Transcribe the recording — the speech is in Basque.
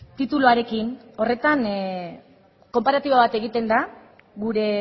tituluarekin horretan konparatibo bat egiten da gure